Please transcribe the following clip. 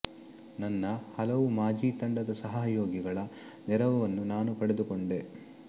ನನ್ನ ಹಲವು ಮಾಜಿ ತಂಡದ ಸಹಯೋಗಿಗಳ ನೆರವನ್ನು ನಾನು ಪಡೆದುಕೊಂಡೆ